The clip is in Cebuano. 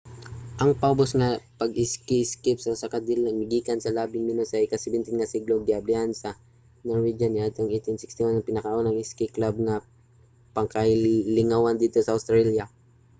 ang paubos nga pag-iski isip usa ka dula migikan pa sa labing menos sa ika-17 nga siglo ug giablihan sa mga norwegian niadtong 1861 ang pinakaunang iski club nga pangkalingawan didto sa australia